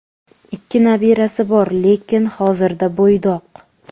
Ikki nabirasi bor, lekin hozirda bo‘ydoq.